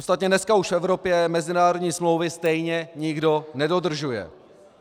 Ostatně dneska už v Evropě mezinárodní smlouvy stejně nikdo nedodržuje.